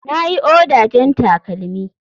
Na yi oda jan takalmi.